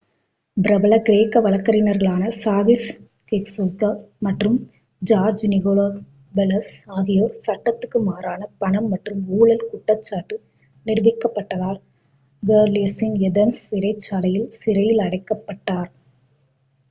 பிரபல கிரேக்க வழக்கறிஞர்களான சாகிஸ் கெச்சகியோக்லோ மற்றும் ஜார்ஜ் நிகோலகோபெளலோஸ் ஆகியோர் சட்டத்துக்கு மாறான பணம் மற்றும் ஊழல் குற்றச்சாட்டு நிரூபிக்கப்பட்டதால் கோரிடல்லஸின் ஏதென்ஸ் சிறைச்சாலையில் சிறையில் அடைக்கப்பட்டனர்